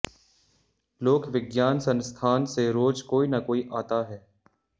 लोक विज्ञान संस्थान से रोज कोई न कोई आता है